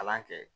Kalan kɛ